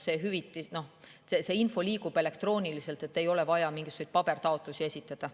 See info liigub elektrooniliselt, ei ole vaja mingisuguseid pabertaotlusi esitada.